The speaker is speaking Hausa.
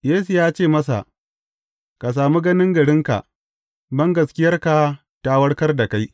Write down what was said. Yesu ya ce masa, Ka sami ganin garinka; bangaskiyarka ta warkar da kai.